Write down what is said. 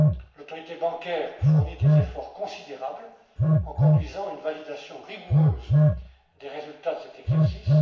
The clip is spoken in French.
L'Autorité bancaire fournit des efforts considérables en conduisant une validation rigoureuse des résultats de cet exercice.